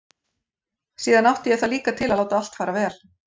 Síðan átti ég það líka til að láta allt fara vel.